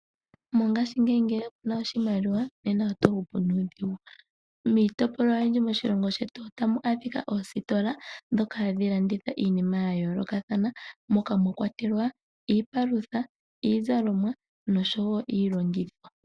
Mongashingeyi ngele kuna oshimaliwa nena oto hupu nuudhigu. Miitopolwa oyindji moshilongo shetu otamu adhika oositola dhoka hadhilanditha iinima yayoolokathana mokwa mwakwatelwa iipalutha, iizalomwa nosho wo iilongithomwa.